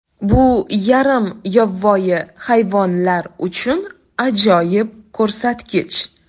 Bu yarim yovvoyi hayvonlar uchun ajoyib ko‘rsatkich.